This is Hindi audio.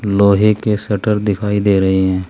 लोहे के शटर दिखाई दे रहे हैं।